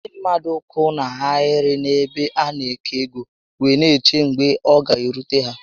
Ndị mmadụ kwụ na ahịrị n'ebe a na-agụ ego wee n'eche mgbe ọ ga-erute ha